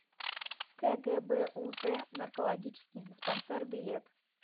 кгбуз наркологический диспансер билет